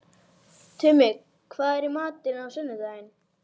Tumi, hvað er í matinn á sunnudaginn?